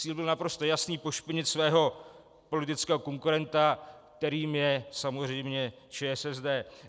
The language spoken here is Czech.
Cíl byl naprosto jasný - pošpinit svého politického konkurenta, kterým je samozřejmě ČSSD.